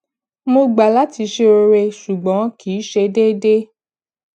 mo gbà láti ṣe oore ṣùgbọn kì í ṣe déédéé